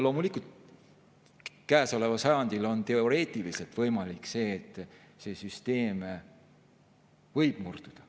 Loomulikult, käesoleval sajandil on teoreetiliselt võimalik, et see süsteem võib murduda.